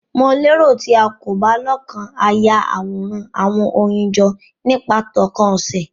Mo lero ti o ko ba lokan a Yaworan awọn oyin jọ nipa tókàn ose